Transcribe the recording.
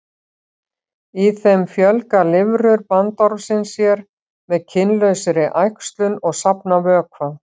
Í þeim fjölga lirfur bandormsins sér með kynlausri æxlun og safna vökva.